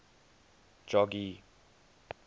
jogee